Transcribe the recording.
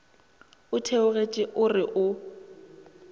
o theogetše o re o